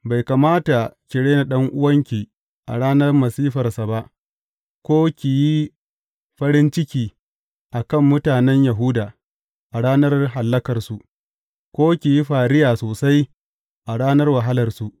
Bai kamata ki rena ɗan’uwanki a ranar masifarsa ba, ko ki yi farin ciki a kan mutanen Yahuda a ranar hallakarsu, ko ki yi fariya sosai a ranar wahalarsu.